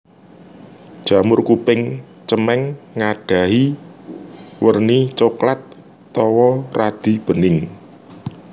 Jamur kuping cemeng nggadhahi werni coklat tuwa radi bening